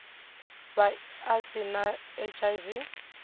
vha a si na hiv